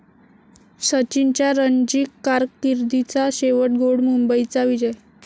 सचिनच्या रणजी कारकीर्दीचा शेवट गोड, मुंबईचा विजय